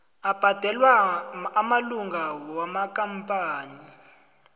abhadelwa amalunga wamakampani